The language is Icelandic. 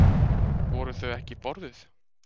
Voru þau ekki borðuð?